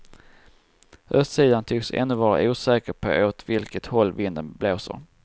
Östsidan tycks ännu vara osäker på åt vilket håll vinden blåser.